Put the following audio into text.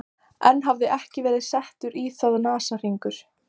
Enn hafði ekki verið settur í það nasahringur.